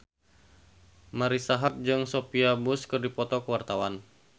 Marisa Haque jeung Sophia Bush keur dipoto ku wartawan